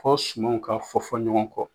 Fɔ sumanw ka fɔ fɔ ɲɔgɔn kɔ.